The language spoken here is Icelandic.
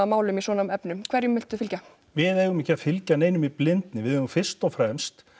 málum í svona efnum hverjum viltu þá fylgja við eigum ekki að fylgja neinum í blindni við eigum fyrst og fremst